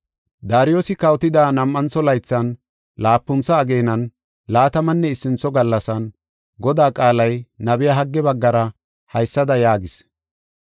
Daariyosi kawotida nam7antho laythan, laapuntha ageenan laatamanne issintho gallasan, Godaa qaalay nabiya Hagge baggara haysada yaagis.